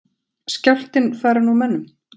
Skjálftinn farinn úr mönnum?